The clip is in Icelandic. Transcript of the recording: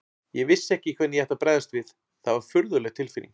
Ég vissi ekki hvernig ég ætti að bregðast við, það var furðuleg tilfinning.